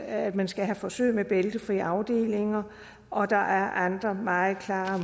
at man skal have forsøg med bæltefri afdelinger og der er andre meget klare